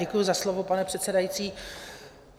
Děkuji za slovo, pane předsedající.